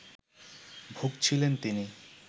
ভুগছিলেন তিনি